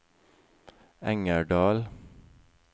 Engerdal